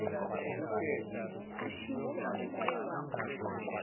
ashise impepho ashaye